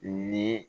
Ni